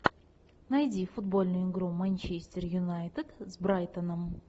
найди футбольную игру манчестер юнайтед с брайтоном